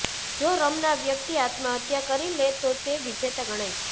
જો રમનાર વ્યક્તિ આત્મહત્યા કરી લે તો તે વિજેતા ગણાય છે